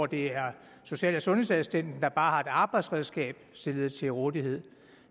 det er social og sundhedsassistenten der bare har et arbejdsredskab stillet til rådighed